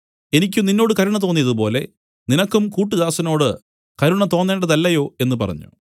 എനിക്ക് നിന്നോട് കരുണ തോന്നിയതുപോലെ നിനക്കും കൂട്ടുദാസനോട് കരുണ തോന്നേണ്ടതല്ലയോ എന്നു പറഞ്ഞു